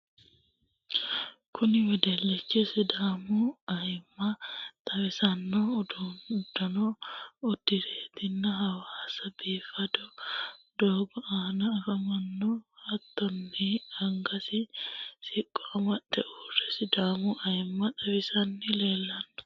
kuni wedellichi sidaamu ayimma xawissanno uddano udiratenni hawasa biifado doogo aana afamanno. hattonni angasi siqqo amade uurre sidaamu ayimma xawisanni leellanno.